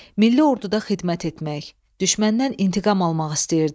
Milli orduda xidmət etmək, düşməndən intiqam almaq istəyirdi.